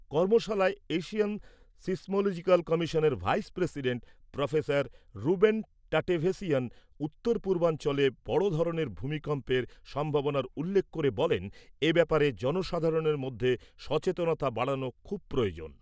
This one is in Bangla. কর্মশালায় এশিয়ান সিসমোলজিক্যাল কমিশনের vice president professor Ruben Tatevossian উত্তর পূর্বাঞ্চলে বড় ধরনের ভূমিকম্পের সম্ভাবনার উল্লেখ করে বলেন এ ব্যাপারে জনসাধারণের মধ্যে সচেতনতা বাড়ানো খুব প্রয়োজন।